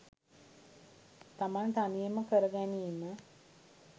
තමන් තනියම කරගැනීම